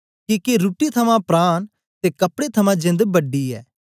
किके रुट्टी थमां प्राण ते कपड़े थमां जेंद बड़ी ऐ